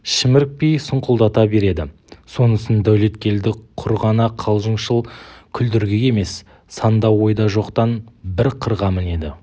шімірікпей сұңқылдата береді сонысын дәулеткелді құр ғана қалжыңшыл күлдіргі емес санда ойда жоқтан бір қырға мінеді